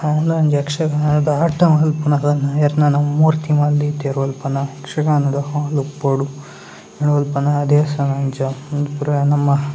ಮೂಲ ಒಂಜಿ ಯಕ್ಷಗಾನದ ಆಟ ಮಾಲ್ಪನದ ಯಾರ್ನೆನ ಮೂರ್ತಿ ಮಾಲ್‌ ದೀತೆರ್‌ ಉಲ್ಪನ ಯಕ್ಷಗಾನೋಡು ಅವೊಂದುಪೋಡ್ ಉಲ್ಪನ ದೇವಸ್ಥಾನ ಅಂಚ ಉಂದು ಪೂರ ನಮ್ಮ --